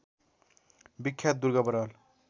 बिख्यात Durga Baral